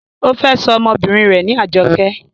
ó fẹ́ sọ ọmọbìnrin rẹ̀ ní Ajoké